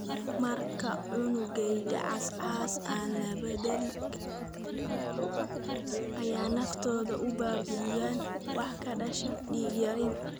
Marka unugyada cas cas aan la bedeli karin si ka dhaqso badan sida ay naftooda u baabi'iyaan, waxaa ka dhasha dhiig-yaraan.